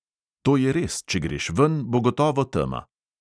To je res, če greš ven, bo gotovo tema.